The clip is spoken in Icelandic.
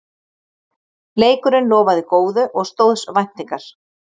Leikurinn lofaði góðu og stóðst væntingar